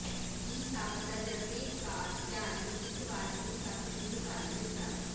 ਵੀ ਸਭ ਤਜਰਬੇਕਾਰ ਖਿਡਾਰੀ ਨੂੰ ਇਕ ਵਾਰ ਸ਼ੁਰੂ ਤੱਕ ਸ਼ੁਰੂ ਕਰ ਦਿੱਤਾ